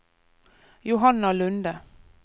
Johanna Lunde